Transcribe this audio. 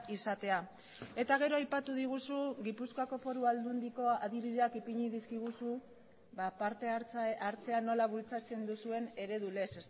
izatea eta gero aipatu diguzu gipuzkoako foru aldundiko adibideak ipini dizkiguzu partehartzea nola bultzatzen duzuen eredu lez